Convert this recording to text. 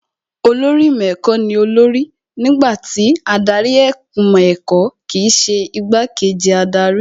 Olórí ìmọ̀ ẹ̀kọ́ ní olórí nígbà tí adarí ìmọ̀ ẹ̀kọ́ kìí ṣe igbá kejì adarí